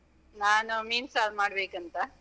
ನಾನ ಮೀನ್ ಸಾರ್ ಮಾಡ್ಬೇಕಂತ.